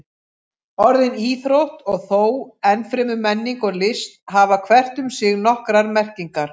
Orðin íþrótt og þó enn fremur menning og list hafa hvert um sig nokkrar merkingar.